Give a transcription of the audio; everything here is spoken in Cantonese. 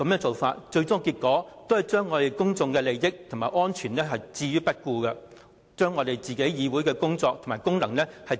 最終的結果是，將公眾的利益和安全置之不顧，自廢立法會的功能。